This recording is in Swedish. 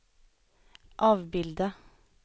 avbilda